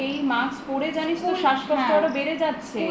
এই mask পরে জানিস তো শ্বাসকষ্ট আরো বেড়ে যাচ্ছে